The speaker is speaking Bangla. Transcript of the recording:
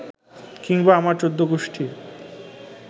কিংবা আমার চৌদ্দগুষ্টির